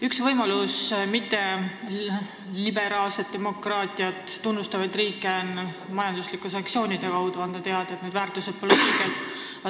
Üks võimalus mõjutada liberaalset demokraatiat mittetunnustavaid riike on anda majanduslike sanktsioonide kaudu teada, et nende väärtushinnangud pole õiged.